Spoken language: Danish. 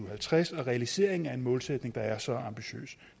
og halvtreds og realiseringen af en målsætning der er så ambitiøs